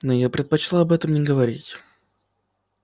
но я бы предпочла об этом не говорить